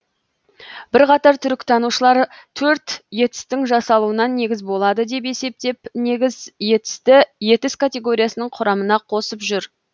бірқатар түркітанушылар төрт етістің жасалуына негіз болады деп есептеп негіз етісті етіс категориясының құрамына қосып жүр